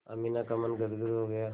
अमीना का मन गदगद हो गया